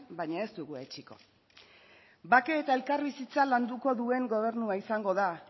baina ez dugu etsiko bake eta elkarbizitza landuko duen gobernua izango da